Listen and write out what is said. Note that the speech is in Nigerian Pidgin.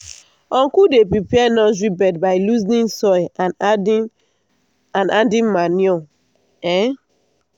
uncle dey prepare nursery bed by loosening soil and adding and adding manure. um